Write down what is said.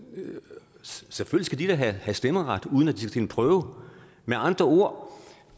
selvfølgelig have stemmeret uden at de skal til en prøve med andre ord